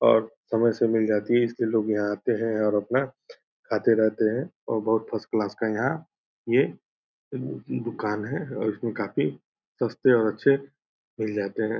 और समय से मिल जाती है इसलिए लोग यहाँ आते है और अपना खाते रहते है और बहुत फर्स्ट क्लास के यहाँ ये दुकान है ये काफी सस्ते और अच्छे मिल जाते हैं।